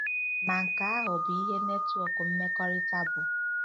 Ma nke ahụ bụ ihe netwọk mmekọrịta bụ.